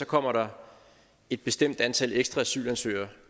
kommer et bestemt antal ekstra asylansøgere